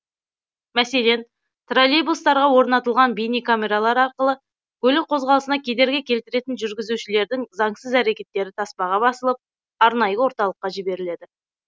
мәселен троллейбустарға орнатылған бейнекамералар арқылы көлік қозғалысына кедергі келтіретін жүргізушілердің заңсыз әрекеттері таспаға басылып арнайы орталыққа жіберіледі